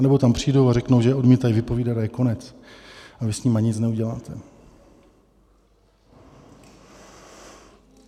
Anebo tam přijdou a řeknou, že odmítají vypovídat, a je konec a vy s nimi nic neuděláte.